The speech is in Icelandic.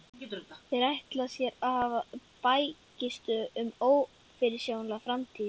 Þeir ætla sér að hafa hér bækistöð um ófyrirsjáanlega framtíð!